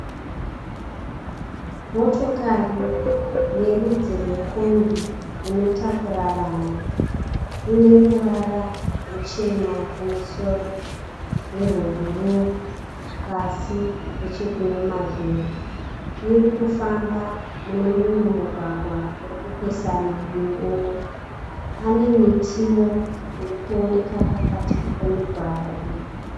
Motokari yerudzi rwekombi inotakura vanhu ineruvara ruchena kumusoro nerwebhuruu pasi nechekune mavhiri. Irikufafamba munemumwe mugwagwa urikupesana neumwe. Pane mitiwo irikuonekwa pakati pemigwagwa iyi.